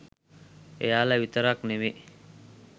එයාලා විතරක් නෙවෙයි